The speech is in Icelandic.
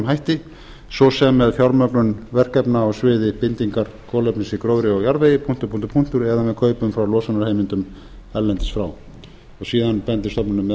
hætti svo sem með fjármögnun verkefna á sviði bindingar kolefnis í gróðri og jarðvegi eða með kaupum frá losunarheimildum erlendis frá síðan bendir stofnunin meðal